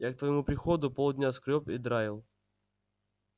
я к твоему приходу полдня скрёб и драил